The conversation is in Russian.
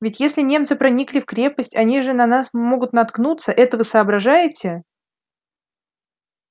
ведь если немцы проникли в крепость они же на нас могут наткнуться это вы соображаете